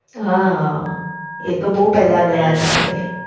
હા એ તો બઉ પહેલા ગાયતા આપડે.